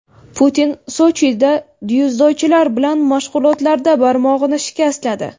Putin Sochida dzyudochilar bilan mashg‘ulotlarda barmog‘ini shikastladi.